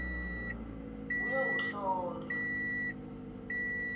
uyowuhlolwa